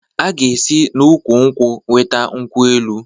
A ga esi na ụkwụ-nkwụ weta nkwụ-elụ